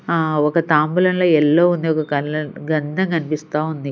ఆ ఒక తాంబులంలో ఎల్లో ఉంది ఒక -- గంధం కనిపిస్తా ఉంది.